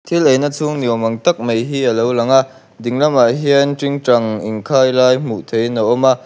thil eina chhung ni awmang tak mai hi alo lang a ding lamah hian tingtang in khailai hmuh theih in a awm a--